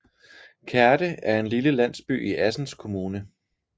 Kerte er en lille landsby i Assens Kommune